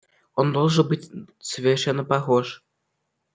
он должен быть совершенно похож